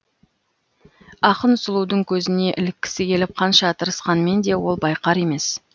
ақын сұлудың көзіне іліккісі келіп қанша тырысқанмен де ол байқар емес